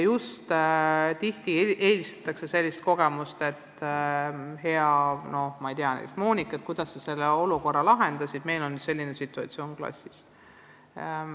Tihti eelistataksegi kuulda kogemust, et hea Monika, kuidas sa selle olukorra lahendasid, meil on nüüd selline situatsioon klassis.